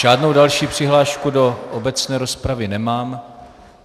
Žádnou další přihlášku do obecné rozpravy nemám.